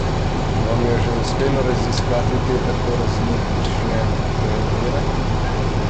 Vam je že uspelo raziskati te tako različne predele?